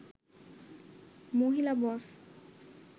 মহিলা বস